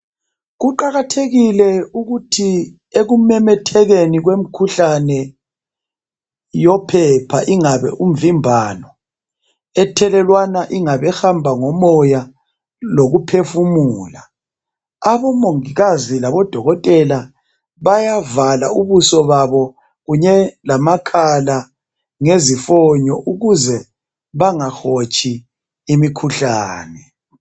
kuqakathekile ukuthi ekumememethekeni kwemkhuhlane yophepha ingabe imvimbano ethelelwana ingabe ihamba ngomoya lokuphefumula abo mongikazi labo dokotela bayavala ubuso babo kunye lamakhala ngezifonyo ukuze bengahotshi imikhuhlane